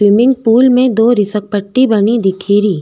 Swimming pool में दो फिसलपट्टी बनी दिखेरी।